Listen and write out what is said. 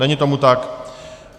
Není tomu tak.